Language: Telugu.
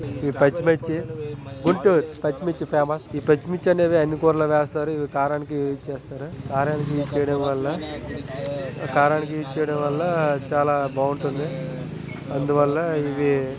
ఈ పచ్చిమిర్చి గుంటూరు. పచ్చిమిర్చి ఫేమస్ . ఈ పచ్చిమిర్చి అనేది అన్ని కూరల్లో వేస్తారు.. ఇది కారానికి యస్ చేస్తారు. కారానికి యూస్ చేయడం వల్ల కారానికి యూస్ చేయడం వల్ల చాలా బాగుంటుంది.